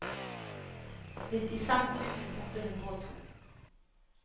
nittifem tusen åtte hundre og to